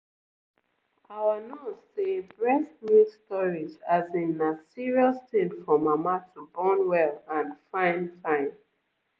our nurse say breast milk storage as in na serious thing for mama to born well and fine fine.